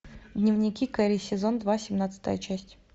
дневники кэрри сезон два семнадцатая часть